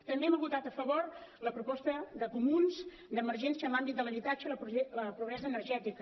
també hem votat a favor la proposta de comuns d’emergència en l’àmbit de l’habitatge i la pobresa energètica